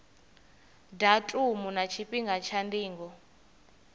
datumu na tshifhinga tsha ndingo